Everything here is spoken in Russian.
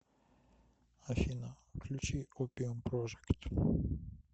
афина включи опиум прожект